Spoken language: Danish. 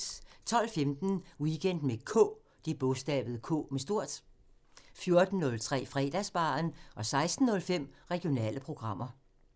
12:15: Weekend med K 14:03: Fredagsbaren 16:05: Regionale programmer